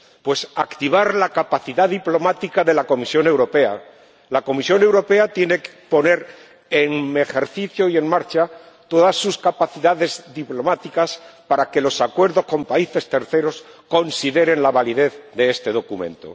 Pues activar la capacidad diplomática de la Comisión Europea. La Comisión Europea tiene que ejercer y poner en marcha todas sus capacidades diplomáticas para que los acuerdos con países terceros consideren la validez de este documento.